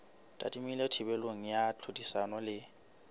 tadimilwe thibelo ya tlhodisano le